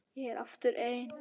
Ég er aftur ein.